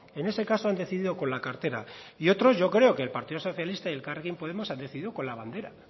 en ese caso han decidido con la cartera y otros yo creo que el partido socialista y elkarrekin podemos han decidido con la bandera